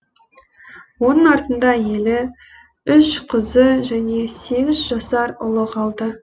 оның артында әйелі үш қызы және сегіз жасар ұлы қалды